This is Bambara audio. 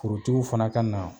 Forotigiw fana ka na